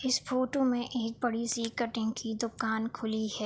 इस फ़ोटो में एक बड़ी सी कटिंग की दुकान खुली है।